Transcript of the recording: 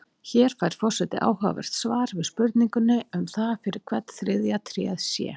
Hér fær forseti áhugavert svar við spurningunni um það fyrir hvern þriðja tréð sé.